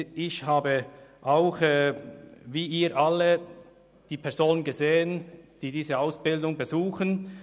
Ich habe, wie Sie alle, die Personen gesehen, die diese Ausbildungen besuchen.